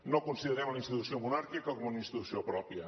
no considerem la institució monàrquica com una institució pròpia